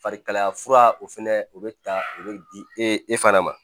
Farikalaya fura o fɛnɛ o bɛ ta o bɛ di e e fana ma